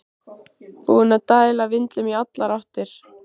Búinn að dæla vindlum í allar áttir!